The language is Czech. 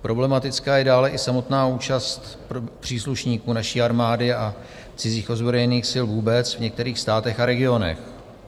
Problematická je dále i samotná účast příslušníků naší armády a cizích ozbrojených sil vůbec v některých státech a regionech.